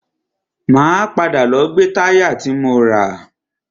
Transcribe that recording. Máa padà lọ gbe táyà ti mo rà.